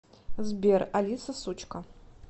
сбер алиса сучка